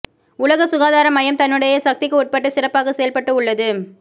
உலக சுகாதார மையம் தன்னுடைய சக்திக்கு உட்பட்டு சிறப்பாக செயல்பட்டு உள்ளது